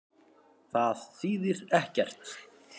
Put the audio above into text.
Það þýðir ekkert.